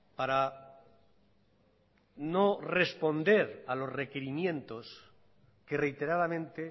para no responder a los requerimientos que reiteradamente